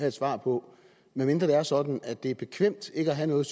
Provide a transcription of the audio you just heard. et svar på medmindre det er sådan at det er bekvemt ikke at have noget